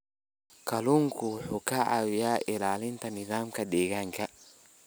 Kalluunku wuxuu ka caawiyaa ilaalinta nidaamka deegaanka.